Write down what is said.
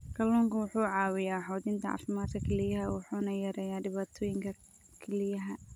Kalluunku wuxuu caawiyaa xoojinta caafimaadka kelyaha wuxuuna yareeyaa dhibaatooyinka kelyaha.